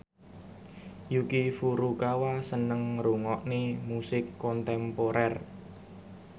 Yuki Furukawa seneng ngrungokne musik kontemporer